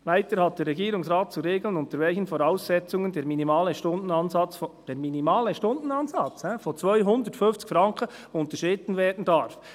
Weiter hat der Regierungsrat zu regeln, unter welchen Voraussetzungen der «minimale Stundenansatz», – der minimale Stundenansatz! –, «von CHF 250.00» unterschritten werden darf.